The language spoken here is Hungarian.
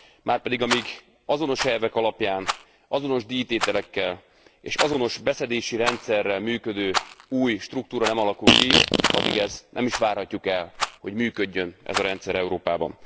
Márpedig, amíg azonos elvek alapján, azonos díjtételekkel és azonos beszedési rendszerrel működő új struktúra nem alakul ki, addig ezt nem is várhatjuk el, hogy működjön ez a rendszer Európában.